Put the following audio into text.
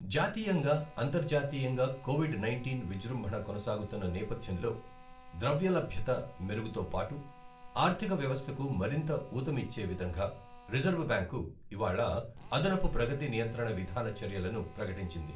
జాతీయంగా, అంతర్జాతీయంగా covid nineteen విజృంభణ కొనసాగుతున్న నేపథ్యంలో ద్రవ్యలభ్యత మెరుగుతోపాటు ఆర్థిక వ్యవస్థకు మరింత ఊతమిచ్చే విధంగా రిజర్వు బ్యాంకు ఇవాళ అదనపు ప్రగతి నియంత్రణ విధాన చర్యలను ప్రకటించింది.